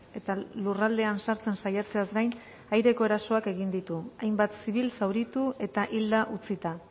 eta lurraldean sartzen saiatzeaz gain aireko erasoak egin ditu hainbat zibil zauritu eta hilda utzita